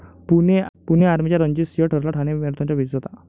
पुणे आर्मीचा रणजित सिंग ठरला ठाणे मॅरेथॉनचा विजेता